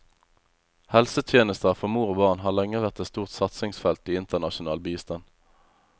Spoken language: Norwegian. Helsetjenester for mor og barn har lenge vært et stort satsingsfelt i internasjonal bistand.